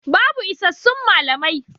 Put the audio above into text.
Babu isassun malamai.